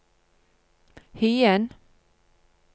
Hyen